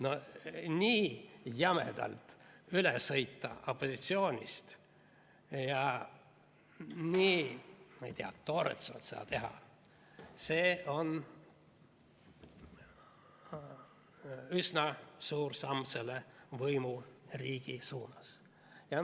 No nii jämedalt üle sõita opositsioonist ja nii, ma ei tea, toorelt seda teha, see on üsna suur samm selle võimuriigi suunas.